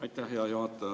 Aitäh, hea juhataja!